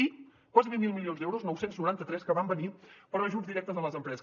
i quasi mil milions d’euros nou cents i noranta tres que van venir per a ajuts directes a les empreses